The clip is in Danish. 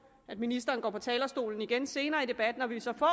at ministeren går på talerstolen igen senere i debatten og vi så får